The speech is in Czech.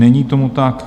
Není tomu tak.